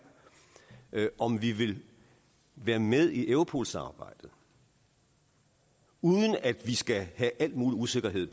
om vi vil være med i europolsamarbejdet uden at vi skal have al mulig usikkerhed